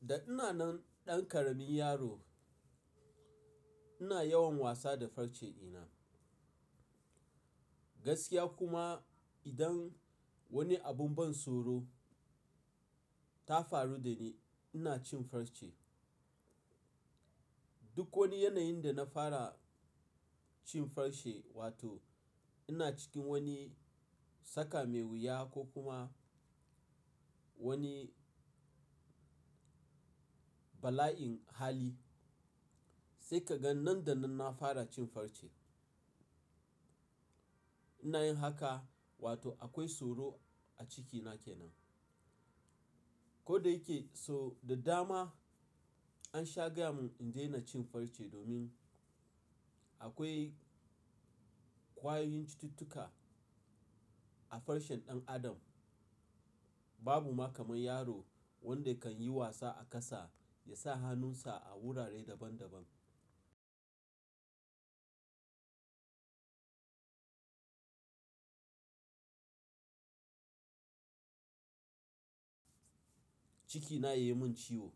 Da ina nan ɗan ƙaramin yaro ina yawan wasa da farce dina. Gaskiya kuma idan wani abun ban tsoro ta faru da ni ina cin farce. Duk wani yanayin da na fara cin farce wato ina cikin wani saka mai wuya ko kuma wani bala'in hali sai ka ga nan da nan na fara cin farce. Ina yin haka wato akwai tsoro a cikina kenan. Ko da yake so da dama an shagaya mun in daina cin farce domin akwai ƙwayoyin cututtuka a farcen ɗan adam, babu ma kamar yaro wanda kan yi wasa a ƙasa ya sa hannunsa a wurare daban daban. Cikina ya yi mun ciwo.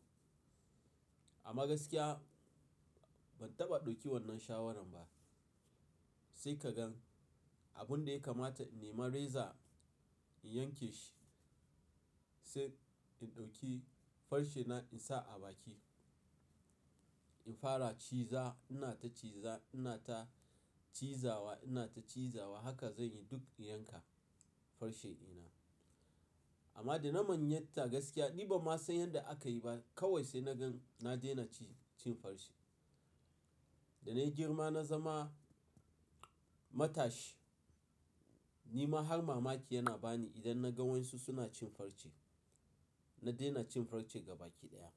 Ama gaskiya ban taɓa ɗauki wannan shawarar ba. Sai ka gan abun da ya kamata in nema reza in yanke shi sai in ɗauki farcena in sa a baki. In fara ciza ina ta ciza ina ta cizawa ina ta cizawa haka zan yi duk in yanka farce dina. Amma da na manyanta gaskiya ni ba ma san yanda aka yi ba kawai sai na gan na daina ci cin farce. Da na yi girma na zama matashi ni ma har mamaki yana bani idan na ga wan su suna cin farce. Na daina cin farce gaba ki ɗaya.